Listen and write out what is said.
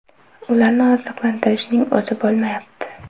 Ularni oziqlantirishning o‘zi bo‘lmayapti.